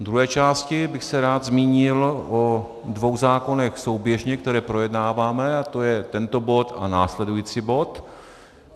V druhé části bych se rád zmínil o dvou zákonech souběžně, které projednáváme, a to je tento bod a následující bod.